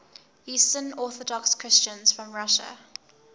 eastern orthodox christians from russia